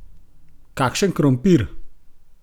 Kakšen krompir!